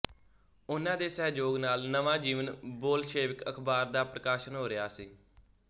ਉਨ੍ਹਾਂ ਦੇ ਸਹਿਯੋਗ ਨਾਲ ਨਵਾਂ ਜੀਵਨ ਬੋਲਸ਼ੇਵਿਕ ਅਖ਼ਬਾਰ ਦਾ ਪ੍ਰਕਾਸ਼ਨ ਹੋ ਰਿਹਾ ਸੀ